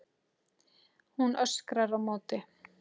Hún öskrar á móti.